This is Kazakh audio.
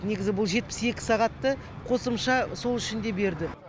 негізі бұл жетпіс екі сағатты қосымша сол үшін де берді